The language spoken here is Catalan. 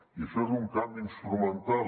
i això és un canvi instrumental